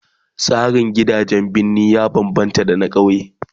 Tsarin gidajen birni ya bambamta da na kauye